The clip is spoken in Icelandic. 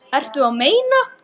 Þessa þarftu við.